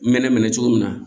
N mɛnɛ minɛ cogo min na